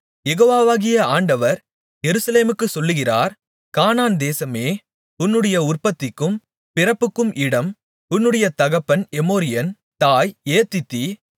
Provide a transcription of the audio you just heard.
யெகோவாகிய ஆண்டவர் எருசலேமுக்குச் சொல்லுகிறார் கானான் தேசமே உன்னுடைய உற்பத்திக்கும் பிறப்புக்கும் இடம் உன்னுடைய தகப்பன் எமோரியன் தாய் ஏத்தித்தி